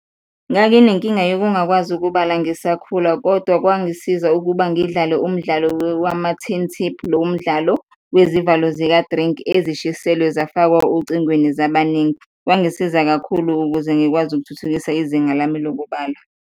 Nganginenkinga yokungagwazi ukubala ngisakhula kodwa kwangisiza ukuba ngidlale umdlalo wama-tin tip, lomdlalo wezivalo zika-drink ezishiselwe zafakwa ocingweni zabaningi, kwangisiza kakhulu ukuze ngikwazi ukuthuthukisa izinga lami lokubala.